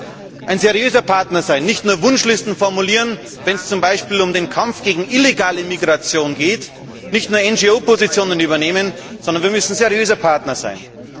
Als Drittes müssen wir auch ein seriöser Partner sein, nicht nur Wunschlisten formulieren, wenn es zum Beispiel um den Kampf gegen illegale Migration geht, nicht nur NGO Positionen übernehmen, sondern wir müssen seriöse Partner sein.